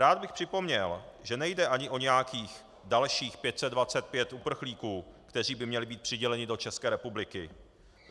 Rád bych připomněl, že nejde ani o nějakých dalších 525 uprchlíků, kteří by měli být přiděleni do České republiky.